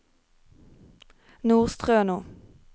Nordstrøno